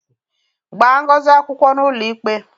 Gbaa Ngozi akwụkwọ n'ụlọikpe!